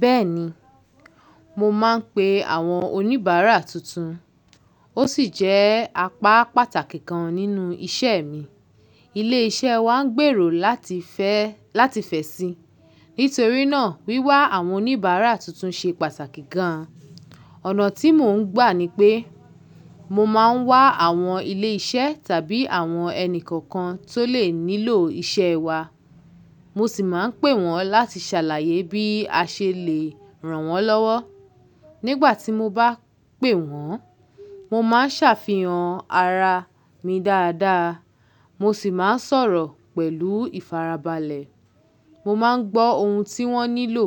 Bẹ́ẹ̀ni, mo máa ń pe àwọn oníbàárà tuntun, ó sì jẹ́ apá pàtàkì kan nínú iṣẹ́ mi. Ilé-iṣẹ́ wa ń gbèrò láti fẹ́, láti fẹ̀ sí. Nítorí náà, wíwá àwọn oníbàárà tuntun ṣe pàtàkì gan-an. Ọ̀nà tí mò ń gbà ni pé, mo máa ń wá àwọn ilé-iṣẹ́ tàbí àwọn ẹni kòòkan tó lè nílò iṣẹ́ wa. Mo sì máa ń pè wọ́n láti ṣàlàyé bí a ṣe lè rànwọ́n lọ́wọ́. Nígbà tí mo bá pè wọ́n, mo máa ń ṣàfihàn ara mi dáadáa, mo sì máa ń sọ̀rọ̀ pẹ̀lú ìfarabalẹ̀. Mo máa ń gbọ́ ohun tí wọ́n nílò,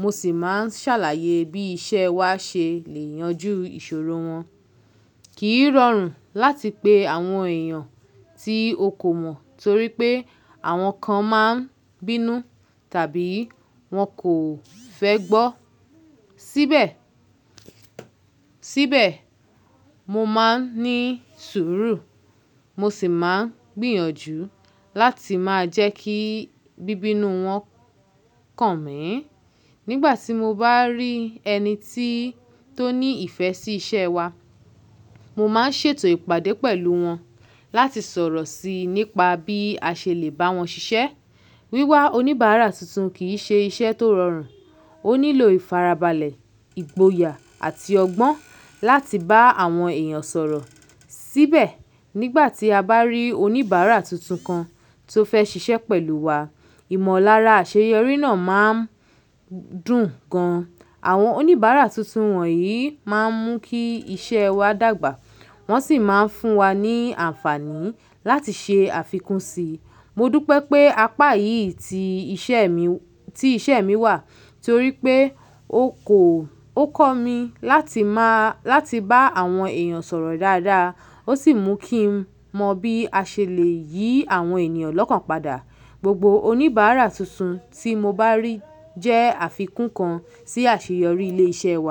mo sì máa ń ṣàlàyé bí iṣẹ́ wa ṣe lè yanjú ìṣòro wọn. Kì í rọrùn láti pe àwọn èèyàn tí o kò mọ̀ torí pé àwọn kan máa ń bínú tàbí wọn kò fẹ́ gbọ́. Síbẹ̀, síbẹ̀, mo máa ń ní sùúrù, mo sì máa ń gbìyànjú láti máa jẹ́ kí bíbínú wọn kàn mí ì. Nígbà tí mo bá rí ẹni tí tó ní ìfẹ́ sí iṣẹ́ wa, mo máa ń ṣètò ìpàdé pẹ̀lú wọn láti sọ̀rọ̀ sí i nípa bí a ṣe lè bá wọn ṣiṣẹ́. Wíwá oníbàárà tuntun kì í ṣe iṣẹ́ tó rọrùn, ó nílò ìfarabalẹ̀, ìgboyà àti ọgbọ́n láti bá àwọn èèyàn sọ̀rọ̀. Síbẹ̀, nígbà tí a bá rí oníbàárà tuntun kan tó fẹ́ ṣiṣẹ́ pẹ̀lú wa, ìmọ̀lára àṣeyọrí náà máa ń dùn gan-an. Àwọn oníbàárà tuntun wọ̀nyí máa ń mú kí iṣẹ́ wa dàgbà, wọ́n sì máa ń fún wa ní àǹfààní láti ṣe àfikún si. Mo dúpé pé apá yìí ti iṣẹ́ mi, ti iṣẹ́ mi wà torí pé ó kọ, ó kọ́ mi láti má, láti bá àwọn èèyàn sọ̀rọ̀ dáadáa, ó sì mú kí n mọ bí a ṣe lè yí àwọn ènìyàn lọ́kàn padà. Gbogbo oníbàárà tuntun tí mo bá rí jẹ́ àfikún kan sí àṣeyọrí ilé iṣẹ́ wa.